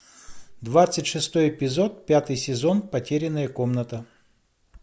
двадцать шестой эпизод пятый сезон потерянная комната